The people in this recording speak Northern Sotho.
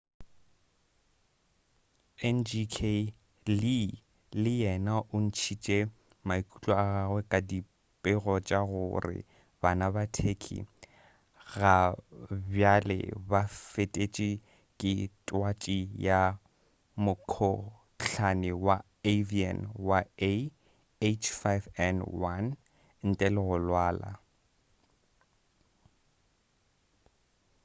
ngk. lee le yena o ntšhitše maikutlo a gagwe ka dipego tša gore bana ka turkey gabjale ba fetetše ke twatši ya mokhohlane wa avian wa ah5n1 ntle le go lwala